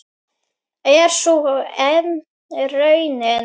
Er sú enn raunin?